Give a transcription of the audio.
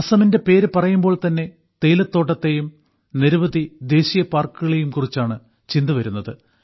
അസമിന്റെ പേര് പറയുമ്പോൾതന്നെ തേയിലത്തോട്ടത്തേയും നിരവധി ദേശീയപാർക്കുകളെയും കുറിച്ചാണ് ചിന്തവരുന്നത്